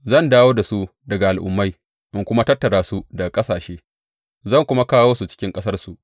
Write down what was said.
Zan dawo da su daga al’ummai in kuma tattara su daga ƙasashe, zan kuma kawo su cikin ƙasarsu.